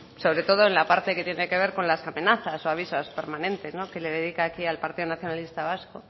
sobre todo en la parte que tiene que ver con las amenazas o avisos permanentes que le dedica aquí al partido nacionalista vasco